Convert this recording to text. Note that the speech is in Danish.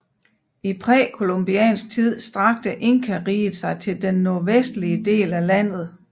I præcolumbiansk tid strakte Inkariget sig til den nordvestlige del af landet